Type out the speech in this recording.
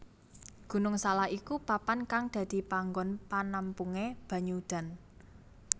Gunung Salak iku papan kang dadi panggon penampungan banyu udan